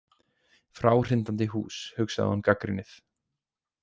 Fráhrindandi hús, hugsaði hún gagnrýnið.